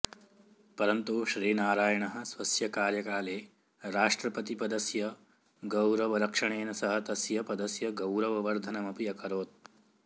परन्तु श्रीनारायणः स्वस्य कार्यकाले राष्ट्रपतिपदस्य गौरवरक्षणेन सह तस्य पदस्य गौरववर्धनमपि अकरोत्